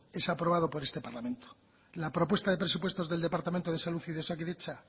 es aprobado por este parlamento la propuesta de presupuestos del departamento de salud y de osakidetza